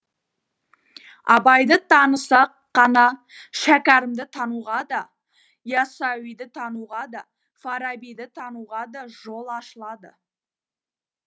абайды танысақ қана шәкәрімді тануға да ясауиды тануға да фарабиді тануға да жол ашылады